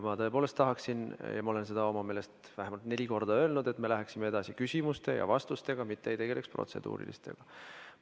Ma tõepoolest tahaksin, ma olen seda enda meelest vähemalt neli korda öelnud, et läheksime edasi küsimuste ja vastustega, mitte ei tegeleks protseduuriliste küsimustega.